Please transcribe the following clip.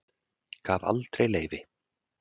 Gaf aldrei leyfi